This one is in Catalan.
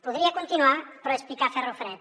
podria continuar però és picar ferro fred